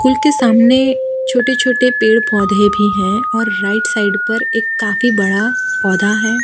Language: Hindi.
कुल के सामने छोटे छोटे पेड़ पौधे भी हैं और राइट साइड पर एक काफी बड़ा पौधा है।